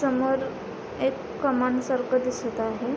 समोर एक कमान सारखं दिसत आहे.